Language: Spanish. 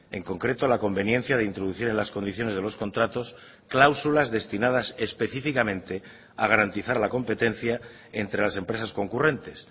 en concreto la conveniencia de introducir en las condiciones de los contratos cláusulas destinadas específicamente a garantizar la competencia entre las empresas concurrentes